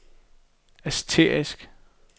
asterisk